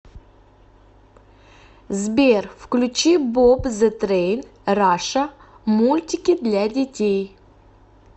сбер включи боб зэ трейн раша мультики для детей